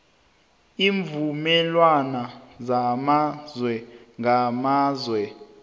iimvumelwana zamazwe ngamazwe